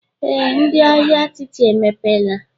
Ee, ndị ahịa atịtị emepeela